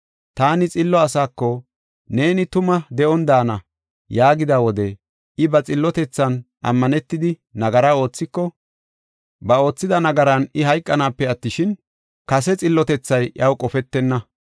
Taani xillo asako, ‘Neeni tuma de7on daana’ yaagida wode, I ba xillotethan ammanetidi nagara oothiko, ba oothida nagaran I hayqanaape attishin, kase xillotethay iyaw qofetenna.